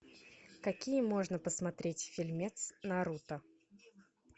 какие можно посмотреть фильмец наруто